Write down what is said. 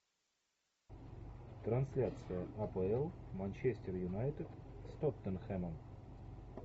трансляция апл манчестер юнайтед с тоттенхэмом